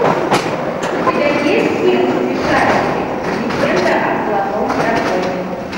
у тебя есть фильм смешарики легенда о золотом драконе